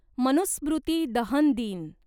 मनुस्मृती दहन दिन